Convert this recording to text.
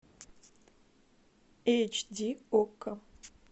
эйч ди окко